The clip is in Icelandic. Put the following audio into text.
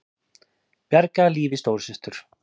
Bjargaði lífi stóru systur